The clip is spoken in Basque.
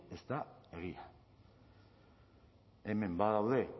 ez da egia hemen badaude